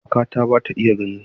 Kakata ba ta iya gani.